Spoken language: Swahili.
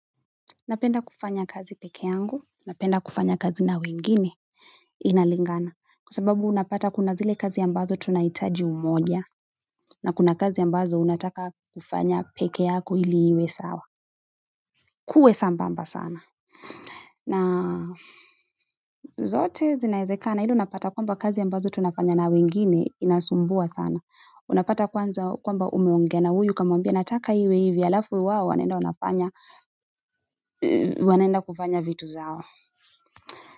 Napenda kufanya kazi peke yangu, napenda kufanya kazi na wengine, inalingana. Kwa sababu unapata kuna zile kazi ambazo tunahitaji umoja, na kuna kazi ambazo unataka kufanya peke yako ili iwe sawa. Kuwe sambamba sana. Na zote zinawezekana, ni ile unapata kwamba kazi ambazo tunafanya na wengine, zinasumbua sana. Unapata kwamba umeongea na huyu kumwambia, na nataka iwe hivi, halafu wao wanaenda kufanya vitu zao.